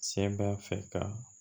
Se b'a fɛ ka